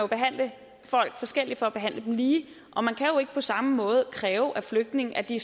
behandle folk forskelligt for at behandle dem lige og man kan jo ikke på samme måde kræve af flygtninge at de